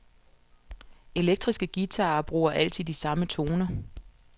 Elektriske guitarer bruger altid de samme toner.